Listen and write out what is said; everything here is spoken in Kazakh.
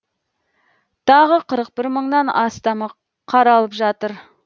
тағы қырық бір мыңнан астамы қаралып жатыр